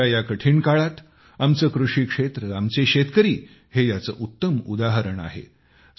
कोरोनाच्या या कठीण काळात आमचे कृषिक्षेत्र आमचे शेतकरी हे याचे उत्तम उदाहरण आहे